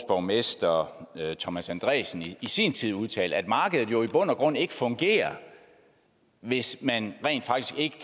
borgmester thomas andresen i sin tid udtalte konstatere at markedet i bund og grund ikke fungerer hvis man rent faktisk ikke